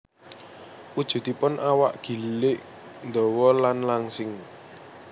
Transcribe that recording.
Wujudipun awak gilig ndawa lan langsing